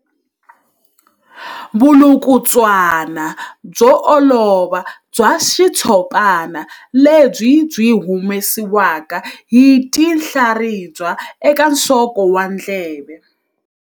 Vulukulutswana byo olova bya xitshopana lebyi byi humesiwaka hi tinhlaribya eka nsoko wa ndleve.